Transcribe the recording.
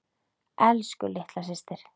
Elsku litla systir.